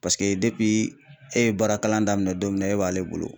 Paseke e ye baara kalan daminɛ don min na e b'ale bolo